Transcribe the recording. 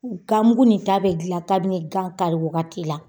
Gan mugu ni ta bɛ dilan kabini gan kari wagati la.